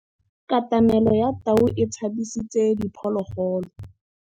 Katamêlô ya tau e tshabisitse diphôlôgôlô.